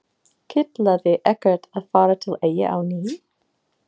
Kitlaði ekkert að fara til Eyja á ný?